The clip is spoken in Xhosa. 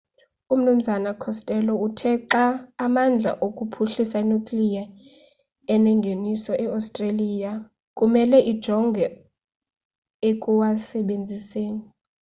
umnu costello uthe xa amandla okuphuhlisa i-nuclear enengeniso iostreliya kumele ijonge ekuwasebenziseni